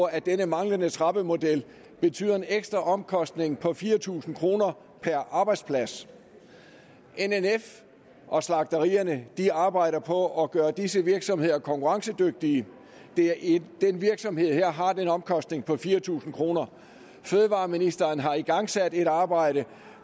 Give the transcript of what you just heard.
at den manglende trappemodel betyder en ekstra omkostning på fire tusind kroner per arbejdsplads nnf og slagterierne arbejder på at gøre disse virksomheder konkurrencedygtige en virksomhed har den omkostning på fire tusind kroner fødevareministeren har igangsat et arbejde